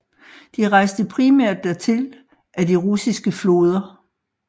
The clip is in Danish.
De rejste primært dertil ad de russiske floder